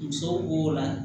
Musow b'o la